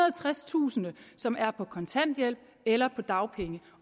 og tredstusind som er på kontanthjælp eller på dagpenge